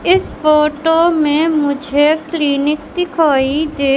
इस फोटो में मुझे क्लिनिक दिखाई दे--